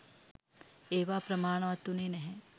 ඒවා ප්‍රමාණවත් වුණේ නැහැ.